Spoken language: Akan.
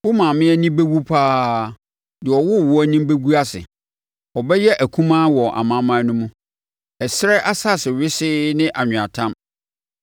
Wo maame ani bɛwu pa ara; deɛ ɔwoo woɔ anim bɛgu ase. Ɔbɛyɛ akumaa wɔ amanaman no mu, ɛserɛ, asase wesee ne anweatam.